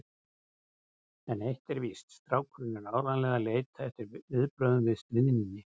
En eitt er víst: Strákurinn er áreiðanlega að leita eftir viðbrögðum við stríðninni.